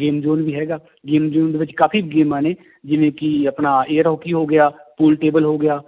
game zone ਵੀ ਹੈਗਾ game zone ਦੇ ਵਿੱਚ ਕਾਫ਼ੀ ਗੇਮਾਂ ਨੇ ਜਿਵੇਂ ਕਿ ਆਪਣਾ air ਹਾਕੀ ਹੋ ਗਿਆ pool table ਹੋ ਗਿਆ